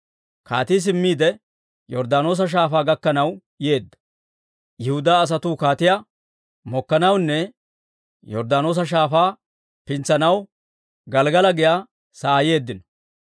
Kaatii simmiide, Yorddaanoosa Shaafaa gakkanaw yeedda. Yihudaa asatuu kaatiyaa mokkanawunne Yorddaanoosa Shaafaa pintsanaw, Gelggala giyaa sa'aa yeeddino.